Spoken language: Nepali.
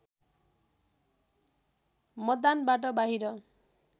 मतदानबाट बाहिर